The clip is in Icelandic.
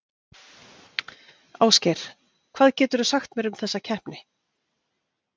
Ásgeir, hvað geturðu sagt mér um þessa keppni?